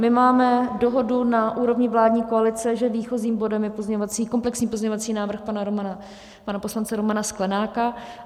My máme dohodu na úrovni vládní koalice, že výchozím bodem je komplexní pozměňovací návrh pana poslance Romana Sklenáka.